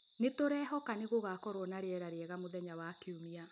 Nĩ tũrehoka nĩ gũgakorwo na rĩera rĩega mũthenya wa kiumia